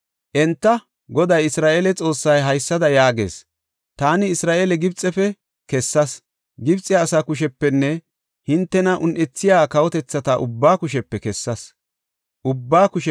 Enta, “Goday, Isra7eele Xoossay haysada yaagees; ‘Taani Isra7eele Gibxefe kessas; Gibxe asaa kushepenne hintena un7ethiya kawotethata ubbaa kushepe ashshas.’